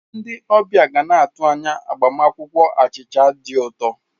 Ndi ọbịa ga na-atụ anya agbamakwụkwọ achịcha dị ụtọ.